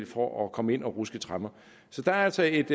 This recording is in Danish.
for at komme ind og ruske tremmer så der er altså et